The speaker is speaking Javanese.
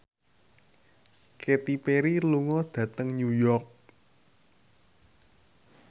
Katy Perry lunga dhateng New York